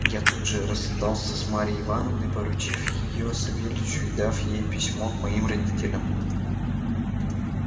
я тут же расстался с марьей ивановной поручив её савельичу и дав ей письмо к моим родителям